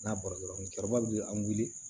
N'a bɔra dɔrɔn musokɔrɔba de bɛ an wele